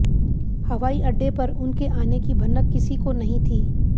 हवाई अड्डे पर उनके आने की भनक किसी को नहीं थी